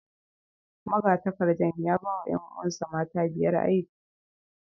Magatakardar ya ba wa ’yan’uwansa mata biyar aiki